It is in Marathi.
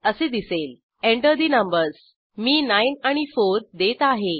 असे दिसेलः Enter ठे नंबर्स मी 9 आणि 4 देत आहे